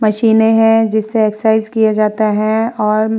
मशीनें हैं जिससे एक्सरसाइज किए जाता है और --